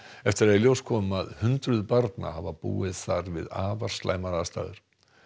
eftir að í ljós kom að hundruð barna hafa búið þar við afar slæmar aðstæður